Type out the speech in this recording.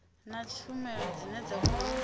na tshumelo dzine dza khou